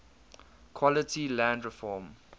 quality land reform